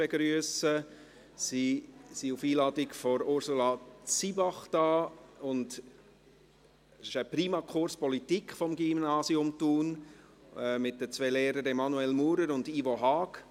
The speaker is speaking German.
Sie sind auf Einladung von Ursula Zybach hier, im Rahmen eines Primakurses Politik des Gymnasiums Thun, mit den zwei Lehrern Emanuel Maurer und Ivo Haag.